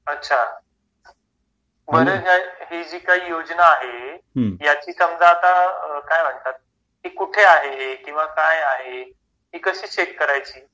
अच्छा हि जी काही योजना आहे याची समज आता काय म्हणतात ती कुठे आहे किंवा काय आहे ती कशी चेक करायची